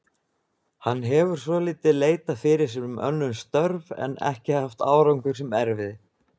Hann hefur svolítið leitað fyrir sér um önnur störf en ekki haft árangur sem erfiði.